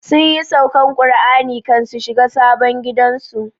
Sunyi saukan Kur'ani kan su shiga sabon gidan su